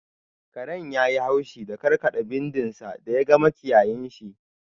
Karen yayi haushi da karkada bindin sa da ya ga makiyayinshi.